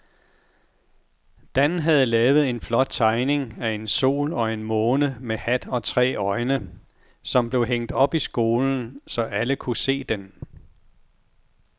Dan havde lavet en flot tegning af en sol og en måne med hat og tre øjne, som blev hængt op i skolen, så alle kunne se den.